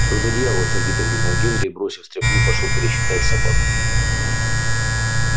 что за дьявол сердито крикнул генри и бросив стряпню пошёл пересчитать собак